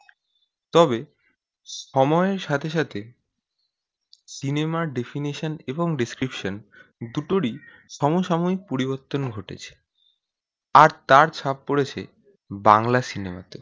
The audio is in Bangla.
তবে সময়ে সাথে সাথে সিনেমার definition এবং description দুটো ই সময়ে সময়ে পরিবর্তন ঘটেছে আর তার ছাপ পড়েছে বাংলা সিনেমাতে